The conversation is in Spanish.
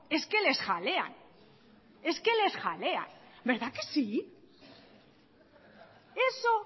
es que les jalean es que les jalean verdad que sí eso